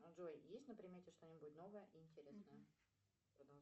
джой есть на примете что нибудь новое и интересное